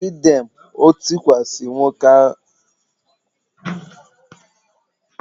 Greet them! O tikwasi nwata nwoke ahu mkpu ụnyaahụ